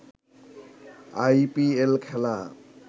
I P L খেলা